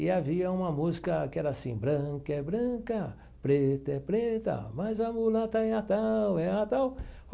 E havia uma música que era assim, branca é branca, preta é preta, mas a mulata é a tal, é a tal.